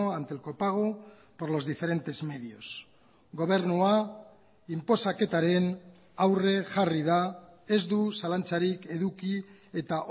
ante el copago por los diferentes medios gobernua inposaketaren aurre jarri da ez du zalantzarik eduki eta